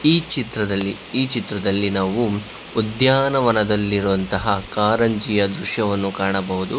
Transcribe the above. ಈ ಚಿತ್ರದಲ್ಲಿ ಈ ಚಿತ್ರದಲ್ಲಿ ನಾವು ಉದ್ಯಾನವನದಲ್ಲಿರುವಂತಹ ಕಾರಂಜಿಯ ದೃಶ್ಯವನ್ನು ಕಾಣಬಹುದು.